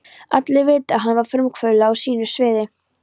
Allir vita, að hann var frumkvöðull á sínu sviði.